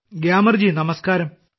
ഗ്യാമർജി നമസ്ക്കാരം